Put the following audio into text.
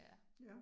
Ja